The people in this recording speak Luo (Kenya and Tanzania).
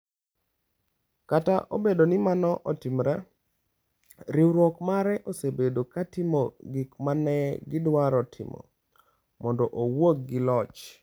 Kata obedo ni mano otimore, riwruok mare osebedo ka timo gik ma ne gidwaro timo - mondo owuok gi loch.